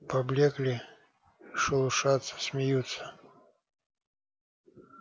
поблёкли шелушатся смеются